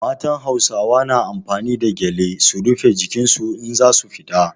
Matan Hausawa na amfani da gyale su rife jikin su in za su fita.